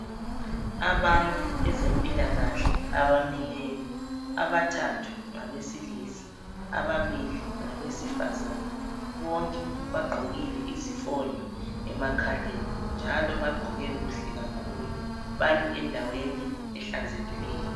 Abantu bezempilakahle abamileyo abathathu ngabesilisa ababili ngabesifazana bonke bagqokile izifonyo emakhaleni njalo bagqoke kuhle kakhulu bami endaweni ehlanzekileyo.